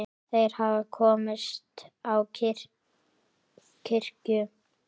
Þeir hafa komist á kirkju!